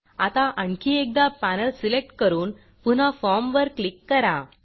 आता आणखी एकदा पॅनेल सिलेक्ट करून पुन्हा फॉर्मवर क्लिक करा